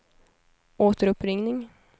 återuppringning